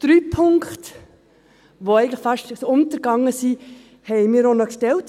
Drei Punkte, die eigentlich fast untergegangen sind, haben wir auch noch gestellt.